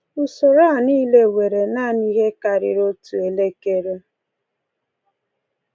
Usoro a niile were naanị ihe karịrị otu elekere.